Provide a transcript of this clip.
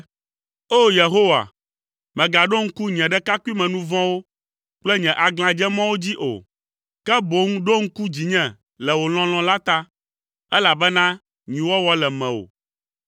O! Yehowa, mègaɖo ŋku nye ɖekakpuimenu vɔ̃wo kple nye aglãdzemɔwo dzi o; ke boŋ ɖo ŋku dzinye le wò lɔlɔ̃ la ta, elabena nyuiwɔwɔ le mewò.